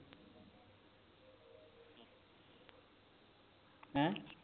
ਹੈਂ